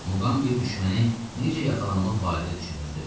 Muqambi düşməni necə yaxalamaq barədə düşünürdü.